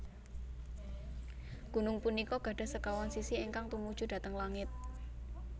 Gunung punika gadhah sekawan sisi ingkang tumuju dhateng langit